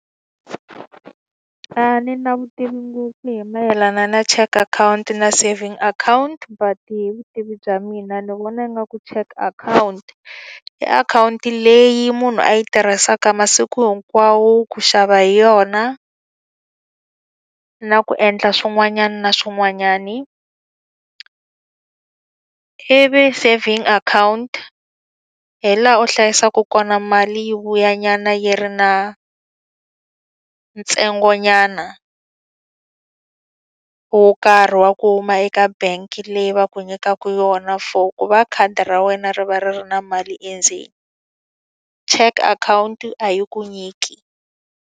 A ni na vutivi ngopfu hi mayelana na cheque akhawunti na savings akhawunti but hi vutivi bya mina ni vona ingaku cheque akhawunti, i akhawunti leyi munhu a yi tirhisaka masiku hinkwawo ku xava hi yona, na ku endla swin'wanyana swin'wanyani. Ivi saving account hi laha u hlayisaka kona mali yi vuyanyana yi ri na ntsengonyana wo karhi wa ku huma eka bank leyi va ku nyikaka yona for ku va khadi ra wena ri va ri ri na mali endzeni. Cheque akhawunti a yi ku nyiki.